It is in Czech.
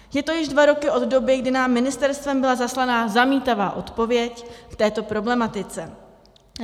Je to již dva roky od doby, kdy nám ministerstvem byla zaslaná zamítavá odpověď k této problematice.